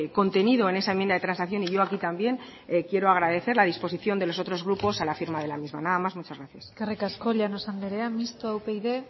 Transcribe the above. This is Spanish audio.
contenido en esa enmienda de transacción y yo aquí también quiero agradecer la disposición de los otros grupos a la firma de la misma nada más muchas gracias eskerrik asko llanos andrea mistoa upyd